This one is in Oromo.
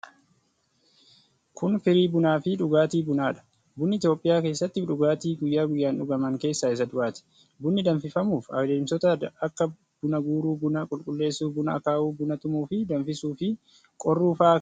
Kun, firii bunaa fi dhugaatii bunaa dha. Bunni Itoophiyaa keessatti dhugaatii guyya guyyaan dhugaman keessaa isa duraati. Bunni danfifamuuf adeemsota akka:buna guuruu, buna qulqulleesuu, buna akaawuu, buna tumuu fi danfisuu fi qorruu faa keessa darbuu qabu.